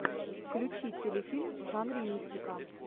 включи телефильм в жанре мистика